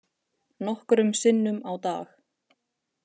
Nokkrum sinnum á dag.